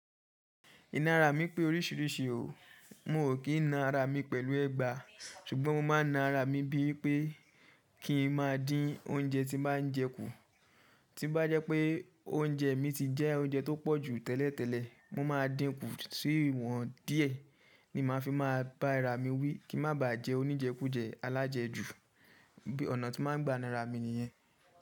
Iná ara mi pé oríṣiríṣi o, mo ò kí na ara mi pẹ̀lú ẹgba, ṣùgbọ́n mo máa na ara mi bí i pé kí n má dín oúnjẹ tí n bá jẹ kú. Tí bá jẹ́ pé oúnjẹ mi ti jẹ́ oúnjẹ tó pọ̀jù tẹ́lẹ̀ tẹ́lẹ̀, mo máa dínkù sí iwọ́n díẹ̀ ni màá fi máa bá ara mi wí kí n má baa jẹ oníjẹ kú jẹ́ alájẹjù. Bí ọ̀nà tí máa ń gba na ra mi nìyẹn.